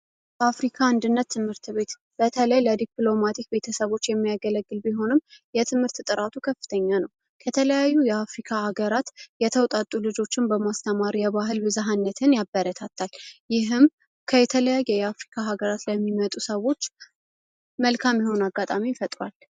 አፍሪካ አንድነት ትምህርት ቤት በተለይ ቤተሰቦች የሚያገለግል ቢሆነው የትምህርት ጥራቱ ከፍተኛ ነው ከተለያዩ የአፍሪካ ሀገራት የተውጣጡ ልጆችን በማስተማሪያ ባህል ብዛትን ያበረታታ ይህም ከተለያየ የአፍሪካ ሀገራት የሚመጡ ሰዎች መልካም የሆነ አጋጣሚ ፈጥሯል።